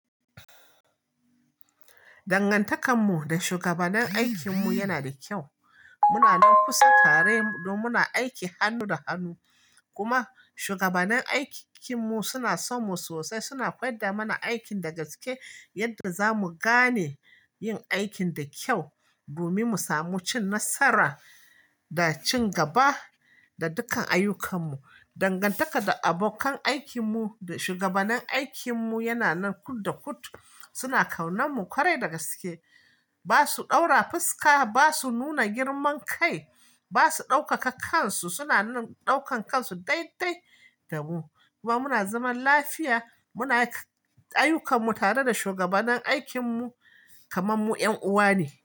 Dangantakar mu da shugabannin aikin mu yana da kyau. Muna nan kusa tare dan muna aiki hannu da hannu. Kuma shugabannin aikin mu suna son mu sosai. Suna koyar da mana aikin da gaske, yadda zamu gane yin aikin da kyau, domin mu samu cin nasara da cin gaba da dukkan ayyukan mu. Dangantaka da abokan aikin mu da shugabannin aikin mu yana nan kud da kud. Suna kaunar mu kwarai da gaske. Ba su ɗaura fuska, ba su nuna girman kai, ba su ɗaukaka kansu. Suna nan ɗaukan kansu daidai da mu. Kuma muna zaman lafiya. Muna ayyukan mu tare da shugabannin aikin mu kamar mu ƴan uwa ne.